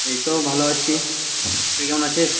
এইতো ভালো আছি, তুই কেমন আছিস,